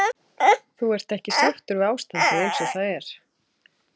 Þú ert ekki sáttur við ástandið eins og það er?